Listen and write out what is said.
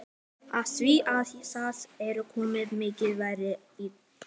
Af því að það er svo mikið varið í þig.